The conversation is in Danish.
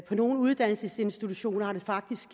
på nogle uddannelsesinstitutioner har det faktisk